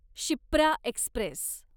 Shipra Express